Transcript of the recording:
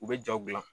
U bɛ jaw gilan